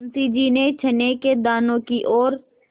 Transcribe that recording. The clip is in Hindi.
मुंशी जी ने चने के दानों की ओर